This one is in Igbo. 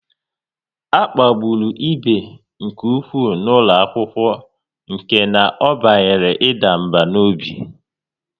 A kpagburu ibe nke ụkwụ n'ụlọ akwụkwọ nke na ọ banyere ịda mbà n'obi